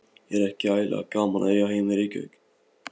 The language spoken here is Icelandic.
Er ekki ægilega gaman að eiga heima í Reykjavík?